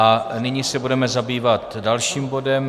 A nyní se budeme zabývat dalším bodem.